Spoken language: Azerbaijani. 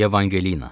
Evangelina.